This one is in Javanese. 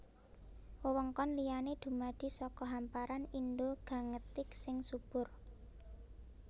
Wewengkon liyané dumadi saka hamparan Indo Gangetik sing subur